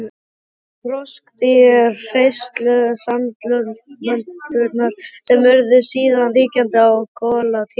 Það voru froskdýr, hreistursalamöndrur, sem urðu síðan ríkjandi á kolatímabilinu.